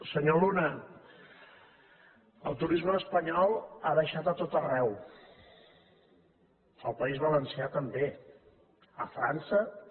senyor luna el turisme espanyol ha baixat a tot arreu al país valencià també a frança també